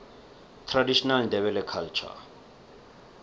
traditional ndebele culture